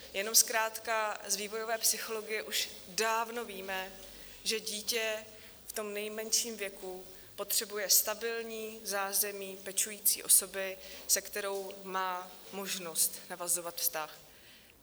Jenom zkrátka z vývojové psychologie už dávno víme, že dítě v tom nejmenším věku potřebuje stabilní zázemí pečující osoby, se kterou má možnost navazovat vztah.